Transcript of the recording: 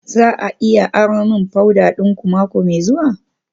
Za a iya aro min powder dinku mako mai zuwa?